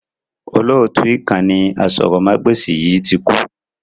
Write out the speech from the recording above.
Olóótù ìkànnì aṣórómagbesìn yìí tí kú